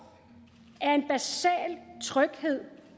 er en basal tryghed